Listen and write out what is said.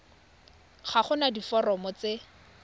ga go na diforomo tse